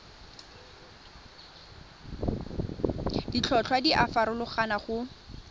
ditlhotlhwa di a farologana go